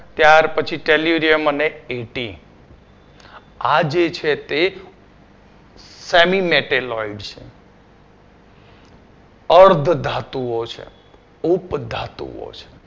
ત્યાર પછી Tellurium અને AT આ જે છે તે semi metalloid છે અર્ધ ધાતુઓ છે, ઉપધાતુઓ છે